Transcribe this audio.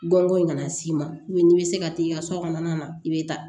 Bɔnko in kana s'i ma n'i bɛ se ka t'i ka so kɔnɔna na i bɛ taa